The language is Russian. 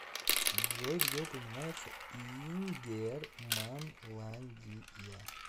джой где упоминается ингерманландия